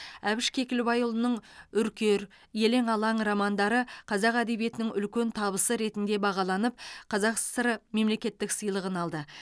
әбіш кекілбайұлының үркер елең алаң романдары қазақ әдебиетінің үлкен табысы ретінде бағаланып қазақ сср мемлекеттік сыйлығын алды